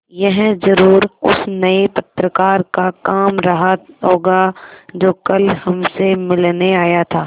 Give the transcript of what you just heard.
यह ज़रूर उस नये पत्रकार का काम रहा होगा जो कल हमसे मिलने आया था